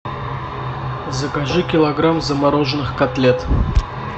закажи килограмм замороженных котлет